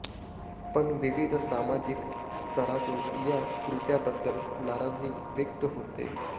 पण विविध सामाजिक स्तरातून या कृत्याबद्दल नाराजी व्यक्त होतेय